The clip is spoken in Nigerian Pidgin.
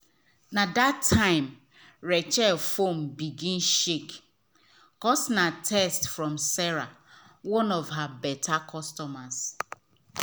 na that time rachel phone begin shake cos na text from sarah one of her better customers